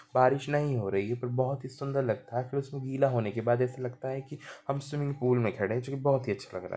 बारिश नहीं हो रही हैं पर बोहत ही सूंदर लगता है फिर इसको गिला होने के बाद ऐसा लगता है की हम स्विमिंग पूल मे खड़े हैं जो की बहुत ही अच्छा लगता हैं।